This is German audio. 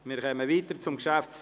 Wir kommen zum Traktandum 56: